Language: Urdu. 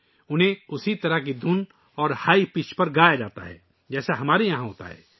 انہیں اسی قسم کی دھن پر اور اونچی آواز پر گایا جاتا ہے جیسا کہ ہم یہاں کرتے ہیں